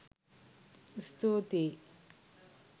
ස්තුතියි!